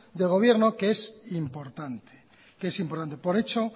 de gobierno que es importante que es importante por hecho